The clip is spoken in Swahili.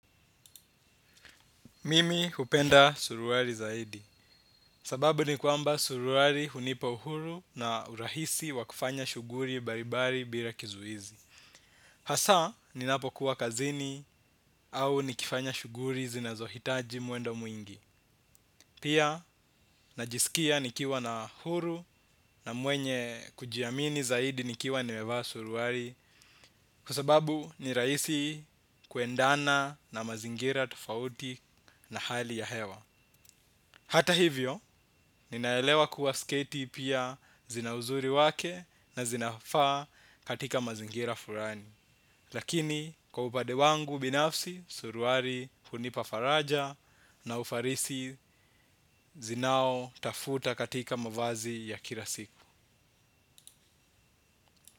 Mimi hupenda suruari zaidi. Sababu ni kwamba suruari hunipa uhuru na urahisi wa kufanya shughuri baribari bila kizuizi. Hasa ninapokuwa kazini au nikifanya shughuri zinazohitaji mwendo mwingi. Pia najisikia nikiwa na uhuru na mwenye kujiamini zaidi nikiwa nimevaa suruari. Kwa sababu ni rahisi kuendana na mazingira tofauti na hali ya hewa. Hata hivyo, ninaelewa kuwa sketi pia zina uzuri wake na zinafaa katika mazingira furani. Lakini, kwa upade wangu binafsi, suruari hunipa faraja na ufarisi zinaotafuta katika mavazi ya kila siku.